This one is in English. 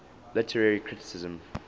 literary criticism